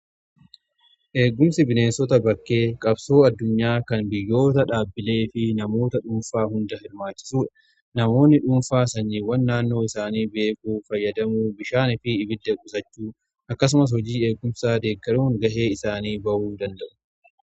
Eeggumsi bineensota bakkee qabsoo addunyaa kan biyyoota dhaabbilee fi namoota dhuunfaa hunda hirmaachisuu namoonni dhuunfaa sanyiiwwan naannoo isaanii beekuu fayyadamuu bishaan fi ibidda qusachuu akkasumas hojii eeggumsaa deeggaruun ga'ee isaanii ba'uu danda'u.